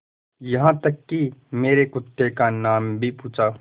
यहाँ तक कि मेरे कुत्ते का नाम भी पूछा